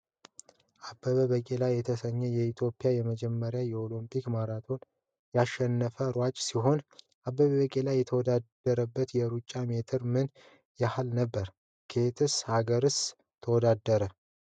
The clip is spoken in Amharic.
አበበ ቢቂላ የተሰኘህ የኢትዮጵያ የመጀመሪያው የኦሊምፒክ ማራቶን ያሸነፈ ሯጭ ሲሆን። አበበ ቢቂላ የተወዳደሩበት የሩጫ ሜትር ምን ያህል ነበር? ከየት አገርስ ተወዳደረ?